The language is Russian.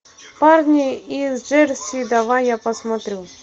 парни из джерси давай я посмотрю